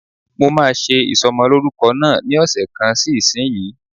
Mo máa ṣe ìsọmọlórúkọ náà ní ọ̀sẹ̀ kan sí ìsínyìí.